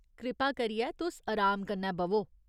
कृपा करियै तुस अराम कन्नै ब'वो।